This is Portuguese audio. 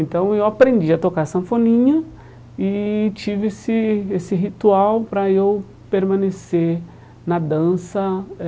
Então eu aprendi a tocar a sanfoninha e tive esse esse ritual para eu permanecer na dança eh.